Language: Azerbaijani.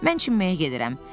Mən çimməyə gedirəm.